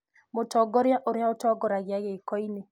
mũtongoria ũrĩa ũtongoragia giiko- ini